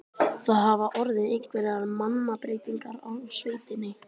Það hafa orðið einhverjar mannabreytingar á sveitinni?